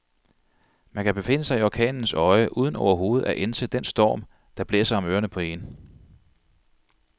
Man kan befinde sig i orkanens øje uden overhovedet at ænse den storm, der blæser om ørerne på en.